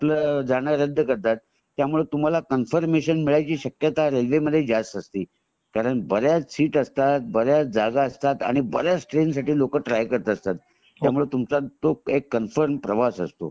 आपला जाणं रद्द करतात आणि त्यामुळे तुम्हाला कन्फर्मेशन मिळायची शक्यता रेल्वे मध्ये जास्त असते कारण बऱ्याच सीट असतात बऱ्याच जागा असतात आणि बऱ्याच ट्रेन साठी लोकं तरी करतात असतात त्यामुळे तुमचं एक कन्फर्म प्रवास असतो